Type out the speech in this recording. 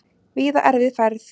Víða erfið færð